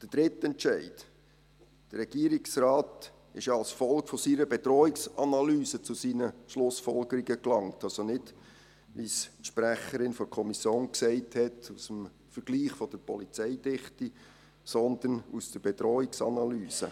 Der dritte Entscheid: Der Regierungsrat ist ja als Folge seiner Bedrohungsanalyse zu seinen Schlussfolgerungen gelangt – also nicht, wie die Sprecherin der Kommission gesagt hat, aus dem Vergleich der Polizeidichte, sondern aus der Bedrohungsanalyse.